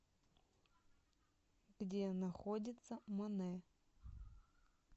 где находится монэ